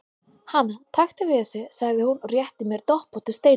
Hana, taktu við þessu, sagði hún og rétti mér doppóttu steinvöluna.